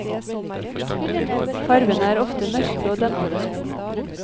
Farvene er ofte mørke og dempede.